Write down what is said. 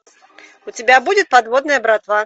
у тебя будет подводная братва